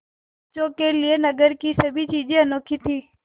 बच्चों के लिए नगर की सभी चीज़ें अनोखी थीं